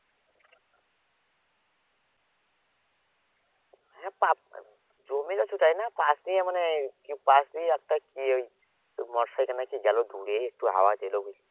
হ্যাঁ জমি নায় পাশ দিয়ে মানে পাশ দিয়ে একটা কি ওই motorcycle না কি গেল দূরে একটু আওয়াজ এলো